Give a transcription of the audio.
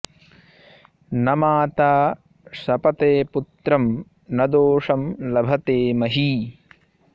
न माता शपते पुत्रं न दोषं लभते मही